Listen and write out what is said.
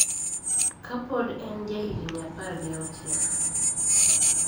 Ka pod en ja higni apar gi auchiel